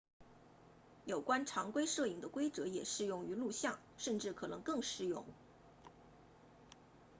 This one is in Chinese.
有关常规摄影的规则也适用于录像甚至可能更适用